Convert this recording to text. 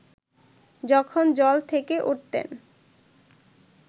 যখন জল থেকে উঠতেন